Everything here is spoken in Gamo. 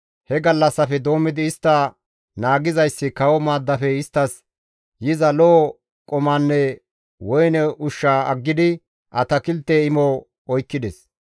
He gallassafe doommidi istta naagizayssi kawo maaddafe isttas yiza lo7o qumanne woyne ushsha aggidi atakilte imo oykkides.